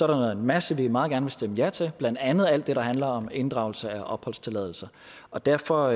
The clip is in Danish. der en masse vi meget gerne vil stemme ja til blandt andet alt det der handler om inddragelse af opholdstilladelse og derfor